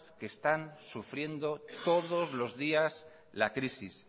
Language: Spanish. que están sufriendo todos los días la crisis